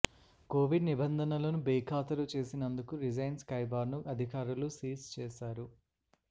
Covid నిబంధనలను బేఖాతరు చేసినందుకు రిజైన్ స్కై బార్ ను అధికారులు సీజ్ చేశారు